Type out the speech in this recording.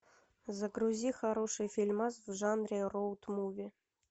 загрузи хороший фильмас в жанре роуд муви